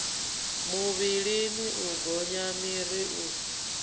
muvhilini u gonya miri u